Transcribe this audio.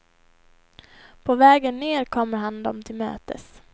På vägen ned kommer han dem till mötes.